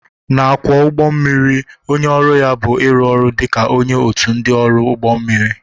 Na-akwọ ụgbọ mmiri onye ọrụ ya bụ ịrụ ọrụ dị ka onye otu ndị ọrụ ụgbọ mmiri.